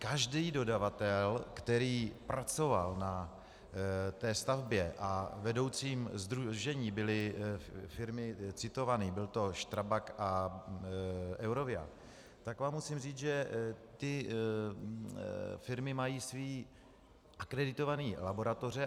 Každý dodavatel, který pracoval na té stavbě, a vedoucím sdružení byly firmy citované, byl to Strabag a Eurovia, tak vám musím říct, že ty firmy mají své akreditované laboratoře.